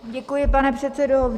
Děkuji, pane předsedo.